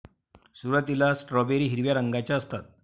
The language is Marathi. सुरुवातीला स्ट्रॉबेरी हिरव्या रंगाच्या असतात.